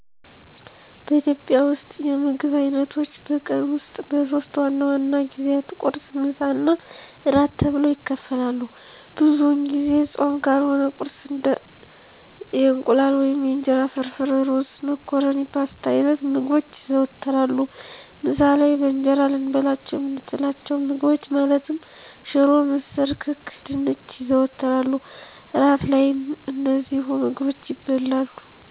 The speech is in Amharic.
በኢትዮጵያ ውስጥ የምግብ አይነቶች በቀን ውስጥ በሶስት ዋና ዋና ጊዜያት ቁርስ፣ ምሳ እና እራት ተብለው ይከፈላሉ። ብዙውን ጊዜ ፆም ካልሆነ ቁርስ እንደ የእንቁላል ወይም የእንጀራ ፍርፍር፣ ሩዝ፣ መኮረኒ ፓስታ አይነት ምግቦች ይዘወተራሉ። ምሳ ላይ በእንጀራ ልንበላቸው የምንችላቸውን ምግቦች ማለትም ሽሮ፣ ምስር፣ ክክ፣ ድንች ይዘወተራሉ። እራት ላይም እነዚሁ ምግቦች ይበላሉ።